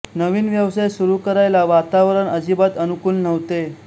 नवीन व्यवसाय सुरू करायला वातावरण अजिबात अनुकूल नव्हते